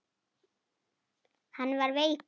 Hann var veikur.